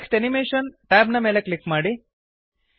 text animation tab ನ ಮೇಲೆ click ಮಾಡಿ